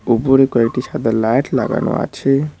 উপরে কয়েকটি সাদা লাইট লাগানো আছে।